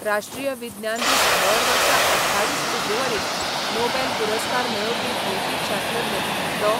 राष्ट्रीय विज्ञान दीस दर वर्सा अठ्ठावीस फेब्रुवारीक नॉबेल पुरस्कार मेळोवपी भौतीक शास्त्रज्ञ डॉ.